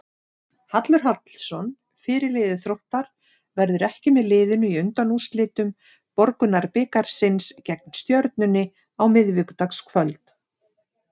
Hallur Hallsson, fyrirliði Þróttar, verður ekki með liðinu í undanúrslitum Borgunarbikarsins gegn Stjörnunni á miðvikudagskvöld.